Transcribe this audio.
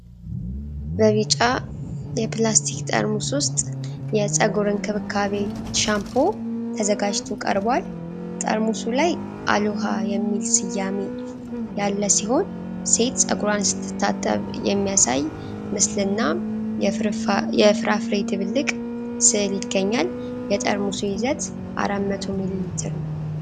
በቢጫ የፕላስቲክ ጠርሙስ ውስጥ የፀጉር እንክብካቤ ሻምፖ ተዘጋጅቶ ቀርቧል። ጠርሙሱ ላይ "አሎሃ" የሚል ስያሜ ያለ ሲሆን፣ ሴት ፀጉሯን ስትታጠብ የሚያሳይ ምስልና የፍራፍሬ ድብልቅ ስዕል ይገኛል። የጠርሙሱ ይዘት 400 ሚሊ ሊትር ነው።